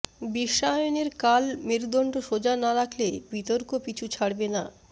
বিশ্বায়নের কাল মেরুদণ্ড সোজা না রাখলে বিতর্ক পিছু ছাড়বে না